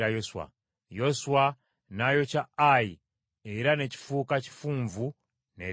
Yoswa n’ayokya Ayi era ne kifuuka kifunvu ne leero.